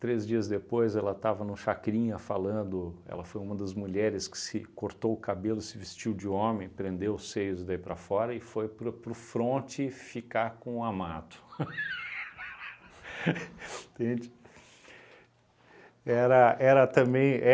Três dias depois ela estava no Chacrinha falando, ela foi uma das mulheres que se cortou o cabelo, se vestiu de homem, prendeu os seios daí para fora e foi para o para o fronte ficar com o amado. Entende? Era, era também